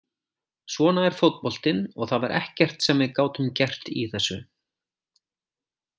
Svona er fótboltinn og það var ekkert sem við gátum gert í þessu.